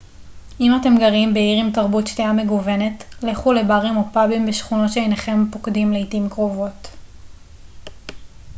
אם אתם גרים בעיר עם תרבות שתייה מגוונת לכו לברים או פאבים בשכונות שאינכם פוקדים לעתים קרובות